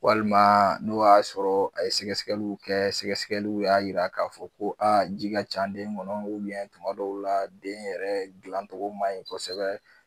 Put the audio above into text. Walima n'o y'a sɔrɔ a ye sɛgɛsɛgɛliw kɛ sɛgɛsɛgɛliw y'a yira k'a fɔ ko ji ka can den kɔnɔ tuma dɔw la den yɛrɛ gilancogo man ɲi kosɛbɛ.